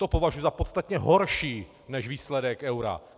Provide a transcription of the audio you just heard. To považuji za podstatně horší než výsledek eura.